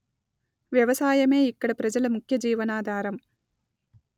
వ్యవసాయమే ఇక్కడి ప్రజల ముఖ్య జీవనాధారం